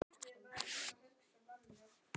Arnar Jónsson leikari